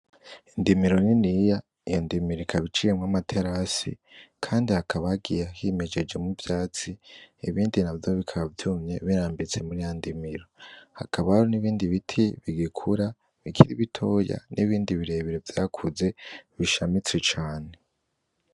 Indimiro niniya, iyo ndimiro ikaba iciwemwo amaterasi kandi hakaba hagiye himejejemwo ivyatsi, ibindi navyo bikaba vyumye birambitse muri ya ndimiro. Hakabaho n'ibindi biti bigikura bikiri bitoya n'ibindi birebire vyakuze bishamitse cane.